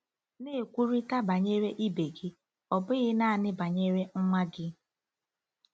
Na-ekwurịta banyere ibe gị, ọ bụghị nanị banyere nwa gị.